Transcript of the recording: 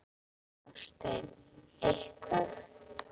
Hafsteinn: Eitthvað?